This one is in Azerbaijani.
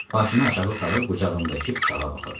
Başını aşağı salıb qucağındakı uşağa baxırdı.